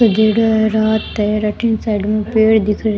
सजेडो है रात है और अठीन साइड में पेड़ दिख रे।